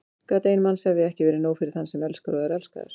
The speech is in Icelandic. Gat ein mannsævi ekki verið nóg fyrir þann sem elskar og er elskaður?